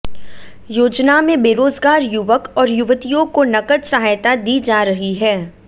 योजना में बेरोजगार युवक और युवतियों को नकद सहायता दी जा रही है